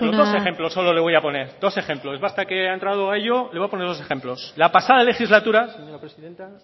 ejemplo dos ejemplos solo le voy a poner dos ejemplos basta que ha entrado a ello le voy a poner dos ejemplos la pasada legislatura señora presidenta